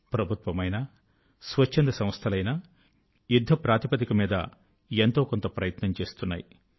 ప్రభుత్వమైనా ఎన్జిఒ లు అయినా యుద్ధ ప్రాతిపదిక మీద ఎంతో కొంత ప్రయత్నం చేస్తున్నాయి